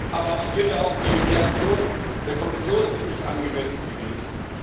Aber auch die Reaktion der Kommission ist nicht angemessen gewesen.